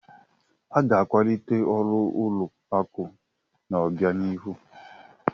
A ga-akwalite ọrụ ụlọ akụ n'obianihu.